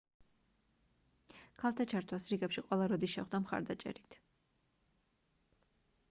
ქალთა ჩართვას რიგებში ყველა როდი შეხვდა მხარდაჭერით